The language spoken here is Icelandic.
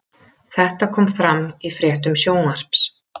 Þetta kom fram í fréttum Sjónvarps